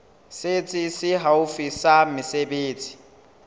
setsi se haufi sa mesebetsi